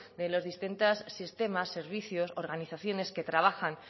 de los distintos sistemas servicios organizaciones que trabajan